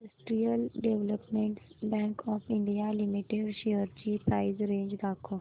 industrial development bank of India limited shares ची price range दाखव